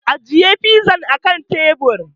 Ajiye fizan a kan teburi!